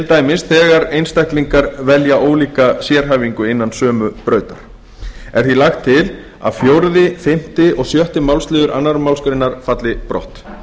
dæmis þegar einstaklingar velja ólíka sérhæfingu innan sömu brautar er því lagt til að fjórða fimmta og sjötta málsliður annarri málsgrein falli brott